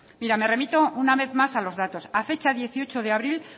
mira me remito una vez más a los datos a fecha dieciocho de abril